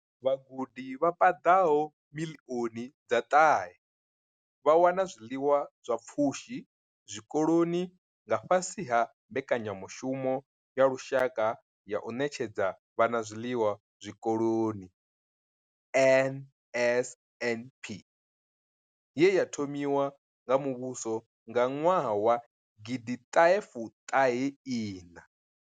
Vhagudi vha paḓaho miḽioni dza ṱahe vha wana zwiḽiwa zwa pfushi zwikoloni nga fhasi ha Mbekanya mushumo ya Lushaka ya u Ṋetshedza Vhana Zwiḽiwa Zwikoloni NSNP ye ya thomiwa nga muvhuso nga ṅwaha wa gidi ṱahe fuṱahe iṋa.